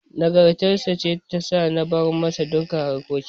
Nagartar sa ce ta sa na bar masa duka harkokin.